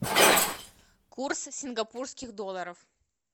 курс сингапурских долларов